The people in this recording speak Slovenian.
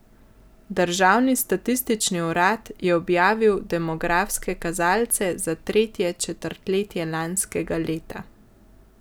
Državni statistični urad je objavil demografske kazalce za tretje četrtletje lanskega leta.